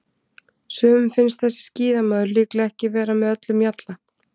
Sumum finnst þessi skíðamaður líklega ekki vera með öllum mjalla.